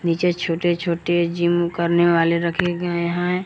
नीचे छोटे छोटे जिम करने वाले रखे गए हैं।